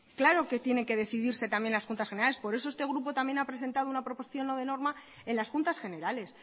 claro que tienen que decidirse también las juntas generales por eso este grupo también ha presentado una proposición no de norma en las juntas generales